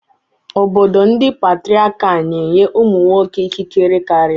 Obodo ndị Patriakal na-enye ụmụ nwoke ikikere karịa.